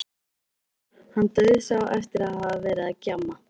Hann dauðsá eftir að hafa verið að gjamma.